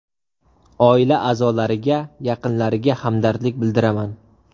Oila a’zolariga, yaqinlariga hamdardlik bildiraman.